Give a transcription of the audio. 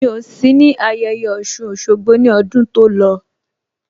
Mi ò sí ní ayẹyẹ Ọ̀ṣun Òṣogbo ní ọdún tó lọ